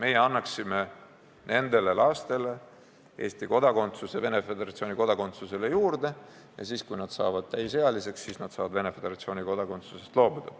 Meie annaksime nendele lastele Eesti kodakondsuse Venemaa Föderatsiooni kodakondsusele lisaks ja siis, kui nad saavad täisealiseks, saavad nad Venemaa Föderatsiooni kodakondsusest loobuda.